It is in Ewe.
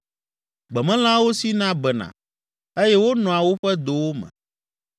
Gbemelãwo sina bena eye wonɔa woƒe dowo me.